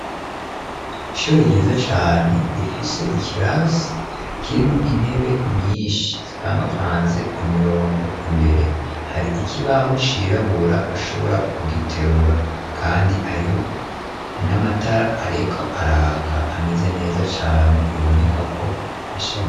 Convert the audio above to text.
Ishuri ryiza cane rifise ikirasi kirimwo intebe nyinshi zipangapfanze ku mirongo imbere hari iki baho cirabura bashobora kugiterura, kandi hariho n'amatara areko araka ameze neza cane biboneka ko asharie.